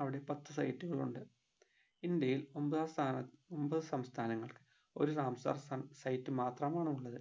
അവിടെ പത്തു site കൾ ഉണ്ട് ഇന്ത്യയിൽ ഒമ്പതാം സ്ഥാനത്തു ഒമ്പത് സംസ്ഥാനങ്ങൾ ഒരു റാംസാർ സ site മാത്രമാണ് ഉള്ളത്